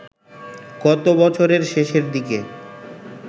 গত বছরের শেষের দিকে